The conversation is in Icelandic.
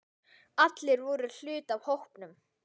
Allir voru hluti af hópnum.